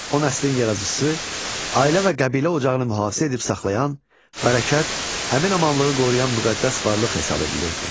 O nəslin yaradıcısı, ailə və qəbilə ocağını mühafizə edib saxlayan, bərəkət, əmin-amanlığı qoruyan müqəddəs varlıq hesab edilirdi.